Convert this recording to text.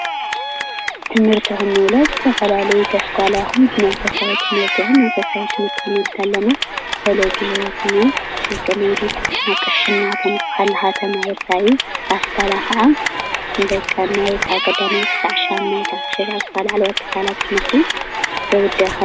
ትምህርቲ ኽንብል ኸለና ብዝተፈላለዩ ብኣስኳላ ይኹን ብ መንፈሳዊ ትሞህርቲ ክንብል ከለና መንፈሳዊ ክንመሃር ከለና እዩ። ኣስኳላ ከዓ ን ኣብነትፐ ካብ ቀዳማይ ኽሳብ ሻምናዬ